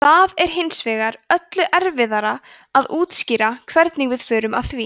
það er hins vegar öllu erfiðara að útskýra hvernig við förum að því